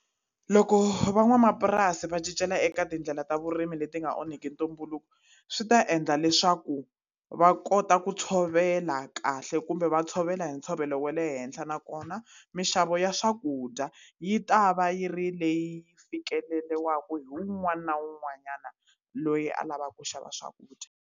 Loko van'wamapurasi va cincela eka tindlela ta vurimi leti nga onhaki ntumbuluko swi ta endla leswaku va kota ku tshovela kahle kumbe va tshovela ntshovelo wa le henhla nakona minxavo ya swakudya yi ta va yi ri leyi fikeleriwaka hi wun'wana na wun'wanyana loyi a lavaka ku xava swakudya.